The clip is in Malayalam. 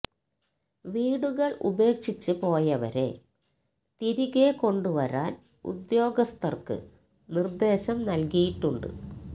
വീടുകള് ഉപേക്ഷിച്ച് പോയവരെ തിരികെ കൊണ്ടുവരാന് ഉദ്യോഗസ്ഥര്ക്ക് നിര്ദ്ദേശം നല്കിയിട്ടുണ്ട്